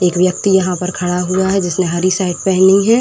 एक व्यक्ति यहां पर खड़ा हुआ है जिसने हरी शर्ट पहनी है।